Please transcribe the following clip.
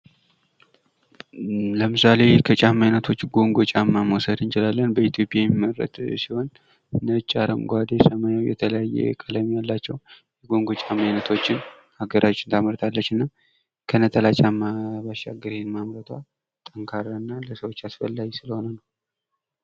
ለምሳሌ ከጨማ አይነቶች ኮንጎ ጫማ መውሰድ እንችላለን በኢትዮጵያ የሚመረት ሲሆን ነጭ አረንጓዴ ሰማያዊ የተለያዩ ቀለም ያላቸው ኮንጎ ጫማ አይነቶችን ሀገራችን ታመርታለችና ከነጠላ ጫማ ባሻገር ይህን ማምረቷ ጠንካራና ለሰዎች ያስፈላጊ ስለሆነ ነው።